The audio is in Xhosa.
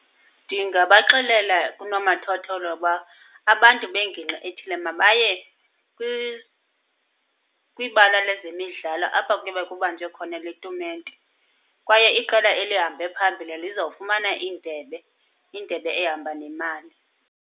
Ndingabaxelela kunomathotholo uba abantu bengingqi ethile mabaye kwibala lezemidlala apha kuyobe kubanjwe khona le tumente. Kwaye iqela elihambe phambile lizawufumana indebe, indebe ehamba nemali.